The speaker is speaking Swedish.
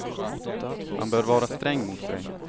Man bör vara sträng mot sig.